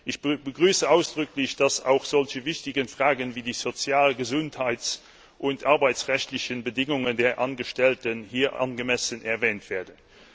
Ich begrüße ausdrücklich, dass auch solche wichtigen Fragen wie die sozial gesundheits und arbeitsrechtlichen Bedingungen der Angestellten hier angemessen erwähnt werden.